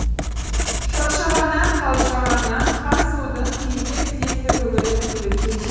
шаршағаннан қалжырағаннан хансұлудың кейде тізесі бүгіліп бүгіліп кете